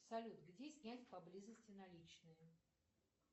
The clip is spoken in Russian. салют где снять поблизости наличные